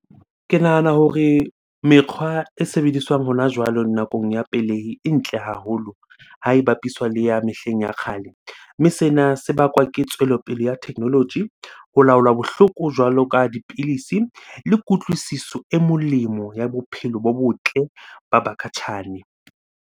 Ke nahana hore mekgwa e sebediswang hona jwale nakong ya pelehi, e ntle haholo ha e bapiswa le ya mehleng ya kgale. Mme sena se bakwa ke tswelopele ya technology, ho laola bohloko jwalo ka dipilisi le kutlwisiso e molemo ya bophelo bo botle ba bakhatjhane.